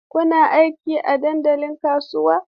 Kuna aiki a dandalin kasuwa?